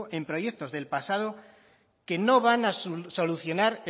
en proyectos del pasado que no van a solucionar